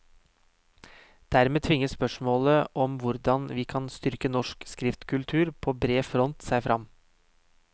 Dermed tvinger spørsmålet om hvordan vi kan styrke norsk skriftkultur på bred front seg fram.